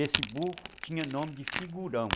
Esse burro tinha nome de figurão.